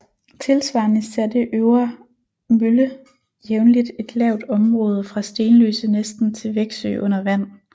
Tilsvarende satte Øvre Mølle jævnligt et lavt område fra Stenløse næsten til Veksø under vand